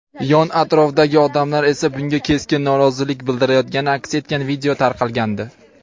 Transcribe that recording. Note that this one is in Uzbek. yon-atrofdagi odamlar esa bunga keskin norozilik bildirayotgani aks etgan video tarqalgandi.